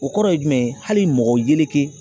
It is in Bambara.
O kɔrɔ ye jumɛn ye hali mɔgɔ yeleke